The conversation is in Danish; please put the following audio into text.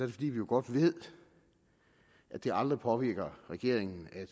det fordi vi jo godt ved at det aldrig påvirker regeringen at